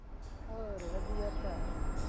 ਹੋਰ ਵਧੀਆ ਭਰਾ